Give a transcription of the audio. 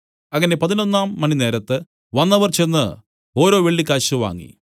അങ്ങനെ പതിനൊന്നാം മണിനേരത്ത് വന്നവർ ചെന്ന് ഓരോ വെള്ളിക്കാശ് വാങ്ങി